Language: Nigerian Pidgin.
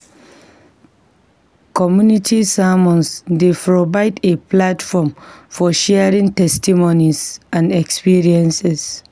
Community sermons dey provide a platform for sharing testimonies and experiences.